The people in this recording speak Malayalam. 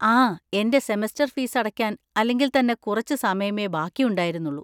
ആ, എൻ്റെ സെമസ്റ്റർ ഫീസ് അടക്കാൻ അല്ലെങ്കിൽ തന്നെ കുറച്ച് സമയമേ ബാക്കിയുണ്ടായിരുന്നുള്ളൂ.